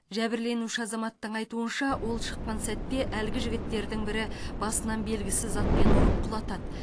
жәбірленуші азаматтың айтуынша ол шыққан сәтте әлгі жігіттердің бірі басынан белгісіз затпен ұрып құлатады